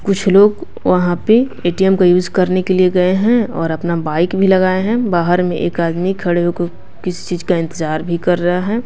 कुछ लोग वहाँ पे ए_टी_एम का यूज़ करने के लिए गए हैं और अपना बाइक भी लगाए हैं बाहर में एक आदमी खड़े हो कर किसी चीज़ का इंतजार भी कर रहा है।